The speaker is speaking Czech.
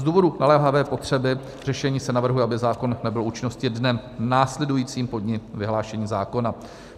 Z důvodu naléhavé potřeby řešení se navrhuje, aby zákon nabyl účinnosti dnem následujícím po dni vyhlášení zákona.